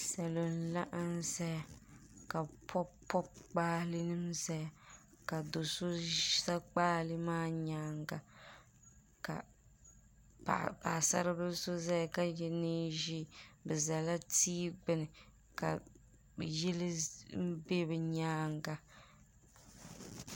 salo n laɣim zaya ka be pobipobi gba nɛsalinima ka do so za gbalɛɛ maa nyɛŋa ka paɣ' saribili so zaya ka yɛ nɛʒiɛ be zala ti gbani ka ʒɛli bɛ nyɛŋa